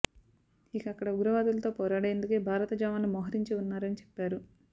ఇక అక్కడ ఉగ్రవాదులతో పోరాడేందుకే భారత జవాన్లు మోహరించి ఉన్నారని చెప్పారు